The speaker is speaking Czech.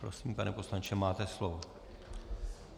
Prosím, pane poslanče, máte slovo.